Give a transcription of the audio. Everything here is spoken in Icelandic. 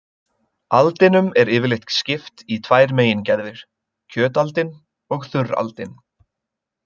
Aldinum er yfirleitt skipt í tvær megingerðir, kjötaldin og þurraldin.